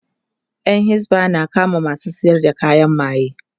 Yan hisba na kama masu sayar da kayan maye